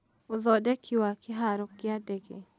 ũthondeki wa kĩhaaro kĩa ndege